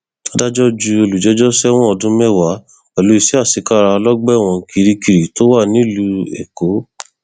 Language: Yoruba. adájọ ju olùjẹjọ sẹwọn ọdún mẹwàá pẹlú iṣẹ àṣekára lọgbà ẹwọn kirikiri tó wà nílùú èkó